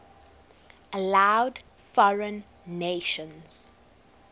allowed foreign nations